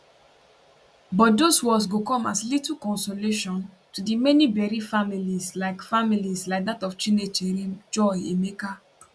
but dose words go come as little consolation to di many bereft families like families like dat of chinecherem joy emeka